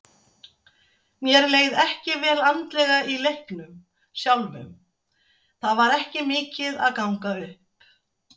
Mér leið ekki vel andlega í leiknum sjálfum, það var ekki mikið að ganga upp.